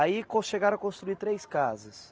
Aí chegaram a construir três casas.